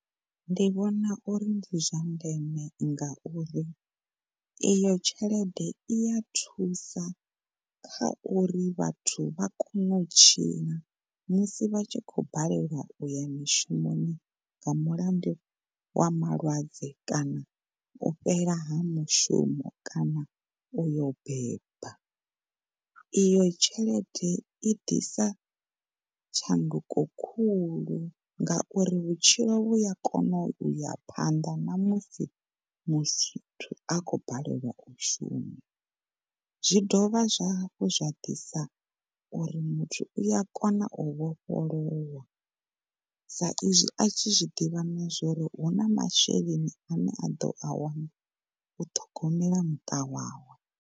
Ndi vhona uri ndi zwa ndeme ngauri iyo tshelede iya thusa kha uri vhathu vha kone u tshila musi vha tshi khou balelwa uya mishumoni nga mulandu wa malwadze kana u fhela ha mushumo kana uyo beba. Iyo tshelede i ḓisa tshanduko khulu ngauri vhutshilo vhuya kono uya phanḓa namusi muthu a khou balelwa u shuma. Zwi dovha zwa hafhu zwa ḓisa uri muthu uya kona u vhofholowa sa izwi a tshi zwiḓivha na zwauri huna masheleni ane a ḓo a wana u ṱhogomela muṱa wawe.